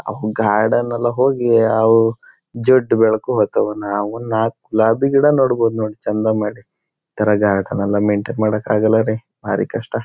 ಅವು ಗಾರ್ಡನ್ ಎಲ್ಲ ಹೋಗಿ ಅವೂ ಜುಟ್ ಬೆಳ್ಕೋಬೇಕು ಅವುನ್ನ ಅವುನ್ನ ನಾಲ್ಕ್ ಗುಲಾಬಿ ಗಿಡ ನೆಡ್ಬಹುದು ನೋಡಿ ಚೆಂದ ಮಾಡಿ ಇತರ ಗಾರ್ಡನ್ ಎಲ್ಲ ಮೈನ್ಟೈನ್ ಮಾಡೋಕ್ಕೆ ಆಗೋಲ್ಲ ರೀ ಬಾರಿ ಕಷ್ಟ.